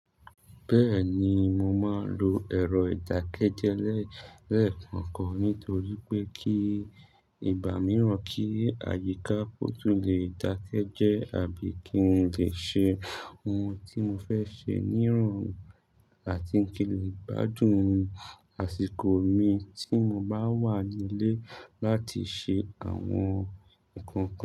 Bẹ́ẹ̀ni, mo máa lò ẹ̀rọ ìdákẹ́jẹ́ lẹẹkọkan nítorí pé kí ìgbà mìíràn kí àyíká kotun lè dákẹ́ jẹ́ àbí kí n lè ṣe ohun tí mo fẹ́ ṣe nírọ̀rùn àti kí lè gbádùn àsìkò mi tí mo bá wà nílé láti ṣe àwọn nǹkan.